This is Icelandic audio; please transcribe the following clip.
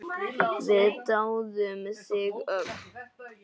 Við dáðum þig öll.